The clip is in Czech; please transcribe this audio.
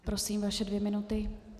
Prosím, vaše dvě minuty.